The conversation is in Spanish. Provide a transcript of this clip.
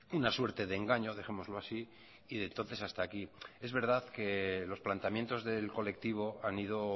una suerte de engaño dejémoslo así y de entonces hasta aquí es verdad que los planteamientos del colectivo han ido